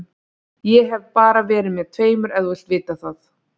Ég hef bara verið með tveimur ef þú vilt vita það.